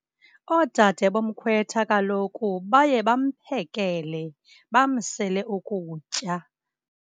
Oodade bomkhwetha kaloku baye bamphekele, bamsele ukutya.